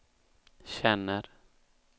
känner